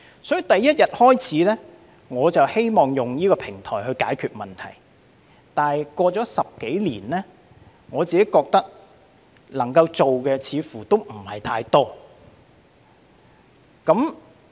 所以，從第一天開始，我便希望利用這平台來解決問題，但經過10多年，我覺得能夠做的似乎不太多。